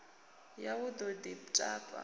ya u ḓo ḽi tapa